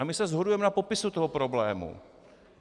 A my se shodujeme na popisu toho problému.